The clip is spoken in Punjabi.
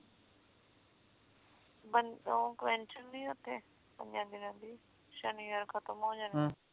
ਓ ਨੀ ਉਥੇ ਕਈਆਂ ਦਿਨਾਂ ਦੀ ਸ਼ਨੀਵਾਰ ਖਤਮ ਹੋ ਜਾਣੀ